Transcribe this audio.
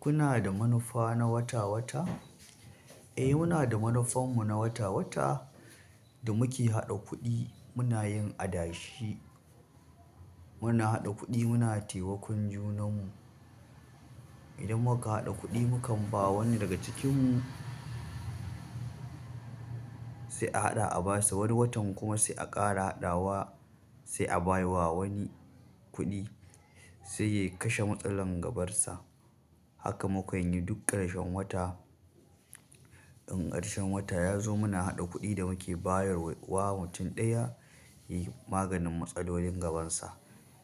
Kuna da manufa na wata-wata? Eh, muna da manufar mu na wata-wata da muke haɗa kuɗi muna yin adashi. Muna haɗa kuɗi muna taimakon junan mu. Idan muka haɗa kuɗi mukan ba wani daga cikin mu sai a haɗa a basa, wani watan kuma sai a ƙara haɗawa sai a baiwa wani kuɗi sai ya kashe matsalar gabarsa. Haka mukanyi duk ƙarshen wata. In ƙarshen wata yazo muna haɗa kuɗi da muke bayarwa wa mutum ɗaya yayi maganin matsalolin sa